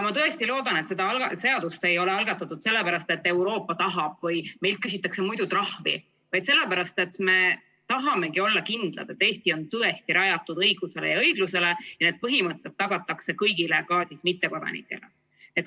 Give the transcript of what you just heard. Ma tõesti loodan, et seda seadust ei ole algatatud sellepärast, et Euroopa tahab või meilt küsitakse muidu trahvi, vaid sellepärast, et me tahamegi olla kindlad, et Eesti on tõesti rajatud õigusele ja õiglusele ning need põhimõtted tagatakse kõigile, ka mittekodanikele.